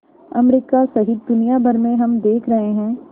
America सहित दुनिया भर में हम देख रहे हैं